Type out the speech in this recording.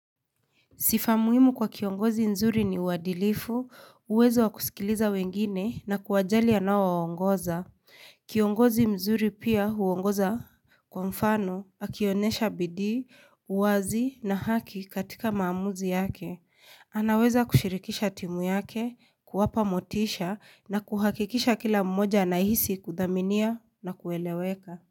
Sifa muimu kwa kiongozi mzuri ni wadilifu, uwezo wakusikiliza wengine na kuwajali anao waongoza. Kiongozi mzuri pia huongoza kwa mfano, akionesha bidi, uwazi na haki katika maamuzi yake. Anaweza kushirikisha timu yake, kuwapa motisha na kuhakikisha kila mmoja na hisi kudhaminia na kueleweka.